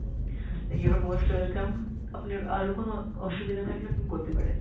you are most welcome। আপনার আরও কোনো অসুবিধা থাকলে আপনি বলতে পারেন।